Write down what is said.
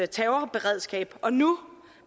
terrorberedskab og nu